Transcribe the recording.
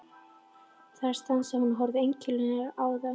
Þar stansaði hún og horfði einkennilega á þá.